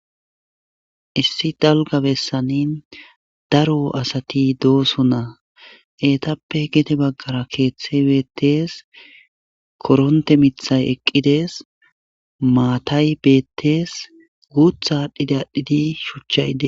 Issi dalga bessani daro asati dooso naa eetappe gete baggara keeththe beettees koronte mithay eqqides maatay bettees guutha aadhdhide adhdhidi shuchchayde